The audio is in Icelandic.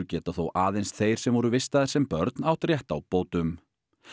geta þó aðeins þeir sem voru vistaðir sem börn átt rétt á bótum